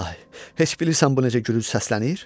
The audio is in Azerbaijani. İlahi, heç bilirsən bu necə gülünc səslənir?